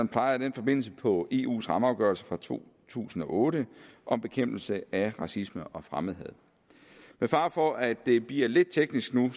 peger i den forbindelse på eus rammeafgørelse fra to tusind og otte om bekæmpelse af racisme og fremmedhad med fare for at det bliver lidt teknisk nu